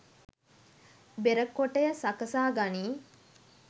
බෙර කොටය සකසා ගනී.